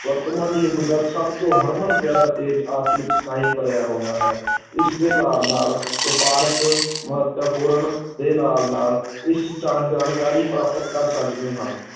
ਵਰਤਮਾਨ ਯੁਗ ਦਾ ਸਭ ਤੋਂ ਹਰਮਨ-ਪਿਆਰਾ, ਤੇਜ਼, ਅਚੂਕ ਭਰਿਆ ਹੋਇਆ ਹੈ ਇਸਦੇ ਨਾਲ ਨਾਲ ਵਪਾਰਕ ਮਹੱਤਵਪੂਰਨ ਦੇ ਨਾਲ ਨਾਲ ਇਸ ਜਾਣਕਾਰੀ ਪ੍ਰਾਪਤ ਕਰ ਸਕਦੇ ਹਾਂ